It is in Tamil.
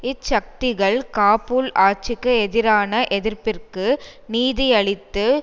இச்சக்திகள் காபூல் ஆட்சிக்கு எதிரான எதிர்ப்பிற்கு நிதியளித்து